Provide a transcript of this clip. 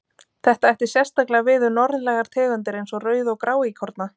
Þetta ætti sérstaklega við um norðlægar tegundir eins og rauð- og gráíkorna.